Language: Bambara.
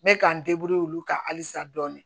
N bɛ k'an olu kan halisa dɔɔni